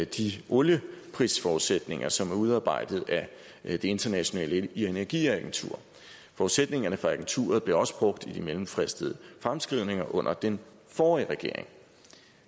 de olieprisforudsætninger som er udarbejdet af det internationale energiagentur forudsætningerne fra agenturet blev også brugt i de mellemfristede fremskrivninger under den forrige regering